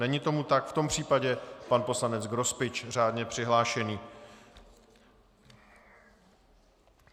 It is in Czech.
Není tomu tak, v tom případě pan poslanec Grospič, řádně přihlášený.